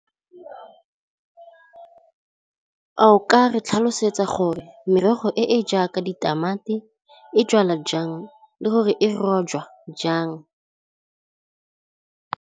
A o ka re tlhalosetsa gore merogo e e jaaka ditamati e jalwa jang le gore e rojwa jang.